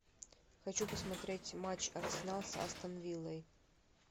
хочу посмотреть матч арсенал с астон виллой